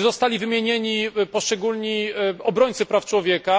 oraz że wymieniono poszczególnych obrońców praw człowieka.